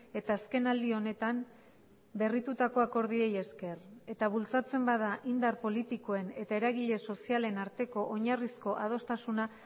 eta azkenaldi honetan berritutako akordioei esker eta bultzatzen bada indar politikoen eta eragile sozialen arteko oinarrizko adostasuna